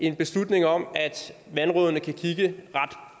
en beslutning om at vandrådene kan kigge